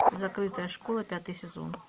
закрытая школа пятый сезон